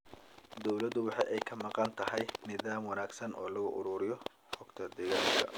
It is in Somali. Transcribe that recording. Dawladdu waxa ay ka maqan tahay nidaam wanaagsan oo loo ururiyo xogta deegaanka.